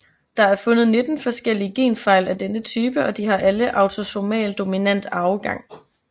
Der er fundet 19 forskellige genfejl af denne type og de har alle autosomal dominant arvegang